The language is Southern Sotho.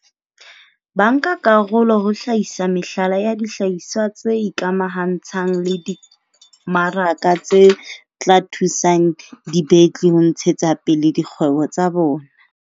Bankakarolo ho hlahisa mehlala ya dihlahiswa tse ikamahantshang le dimaraka tse tla thusang dibetli ho ntshetsapele dikgwebo tsa bona.